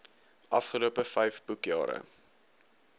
afgelope vyf boekjare